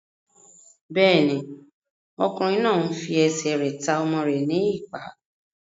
Bẹ́ẹ̀ni, ọkùnrin náà n fi ẹsẹ̀ rẹ̀ ta ọmọ rẹ̀ ní ìpá